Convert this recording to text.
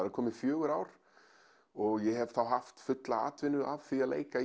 eru komin fjögur ár og ég hef haft fulla atvinnu af því að leika